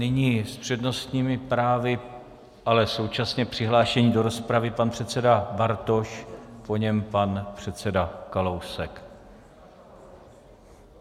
Nyní s přednostními právy, ale současně přihlášení do rozpravy, pan předseda Bartoš, po něm pan předseda Kalousek.